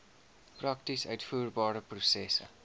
prakties uitvoerbare prosesse